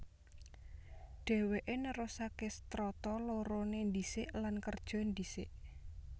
Dhèwèké nerusaké Strata loroné ndhisik lan kerja ndhisik